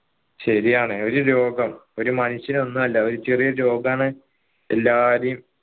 ശരിയാണ് ഒരു രോഗം ഒരു മനുഷ്യൻ ഒന്ന്വല്ല ഒരു ചെറിയൊരു രോഗാണ് എല്ലാരേയും